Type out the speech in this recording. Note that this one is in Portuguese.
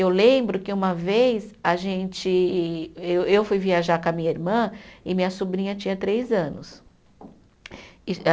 Eu lembro que uma vez a gente, eu fui viajar com a minha irmã e minha sobrinha tinha três anos. E